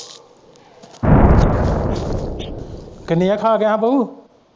ਕਿੰਨੀਆਂ ਖਾ ਗਈਆਂ ਹਾਂ ਬਓ।